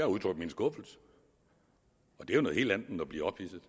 udtrykt min skuffelse og det er noget helt at blive ophidset